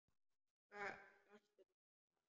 Og gastu það?